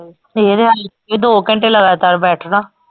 ਦੋ ਘੰਟੇ ਲਗਾਤਾਰ ਬੈਠਣਾ।